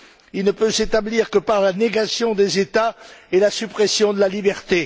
Il ne peut s'établir que par la négation des États et la suppression de la liberté.